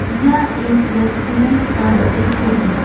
यह एक रेस्टूरेंट का दृश्य है।